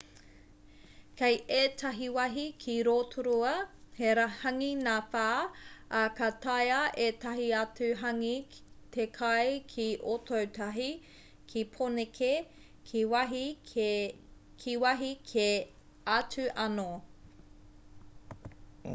kei ētahi wāhi ki rotorua he hāngī ngāwhā ā ka taea ētahi atu hāngī te kai ki ōtautahi ki pōneke ki wāhi kē atu anō